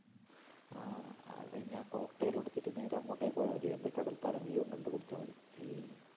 ആ അത് കഴിഞ്ഞാ cocktail ഉ എടുത്തിട്ട് നേരെ അങ്ങോട്ടേയ്ക്ക് പോയാമതി എന്ത് കടൽപ്പാലം view ഉം കണ്ട് കുടിച്ചാ മതി